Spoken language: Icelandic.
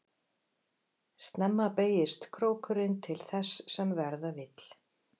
Snemma beygist krókurinn til þess sem verða vill.